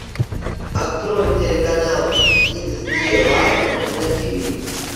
открой телеканал икс ди лайф на ти ви